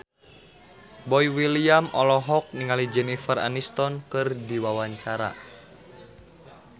Boy William olohok ningali Jennifer Aniston keur diwawancara